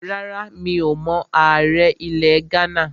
Rárá, mi ò mọ ààrẹ ilẹ̀ Ghánà